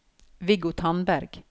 Viggo Tandberg